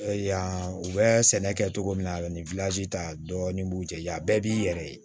Yan u bɛ sɛnɛ kɛ cogo min na a bɛ ni ta dɔɔnin b'u jɛ ya bɛɛ b'i yɛrɛ ye